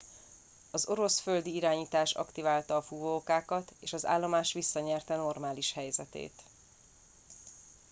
az orosz földi irányítás aktiválta a fúvókákat és az állomás visszanyerte normális helyzetét